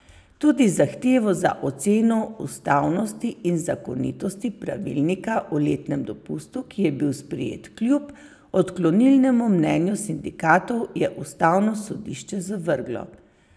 Tudi zahtevo za oceno ustavnosti in zakonitosti pravilnika o letnem dopustu, ki je bil sprejet kljub odklonilnemu mnenju sindikatov, je ustavno sodišče zavrglo.